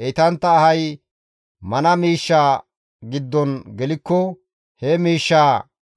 Heytantta ahay mana miishshaa giddon gelikko he miishshaa